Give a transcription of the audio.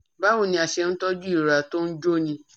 Báwo ni a ṣe ń tọ́jú ìrora tó ń jóni ní orí ẹnu?